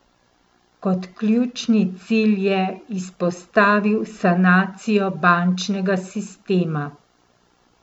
Kot ključni cilj je izpostavil sanacijo bančnega sistema.